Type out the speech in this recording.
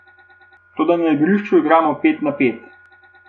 Toda na igrišču igramo pet na pet.